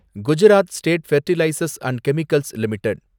Gujarat state fertilizers and chemicals limited